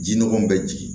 Ji nɔgɔ bɛ jigin